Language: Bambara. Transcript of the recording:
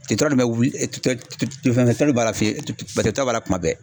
bɛ wuli fɛn b'a la fiyetɔ t'a la kuma bɛɛ